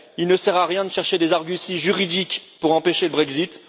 Il ne sert à rien de chercher des arguties juridiques pour empêcher le Brexit.